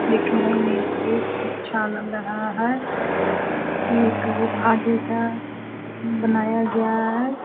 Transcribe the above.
देखने में बहुत अच्छा लग रहा है। एक गुफा जैसा बनाया गया है।